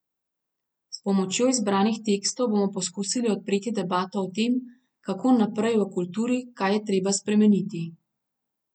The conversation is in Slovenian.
S pomočjo izbranih tekstov bomo poskusili odpreti debato o tem, kako naprej v kulturi, kaj je treba spremeniti.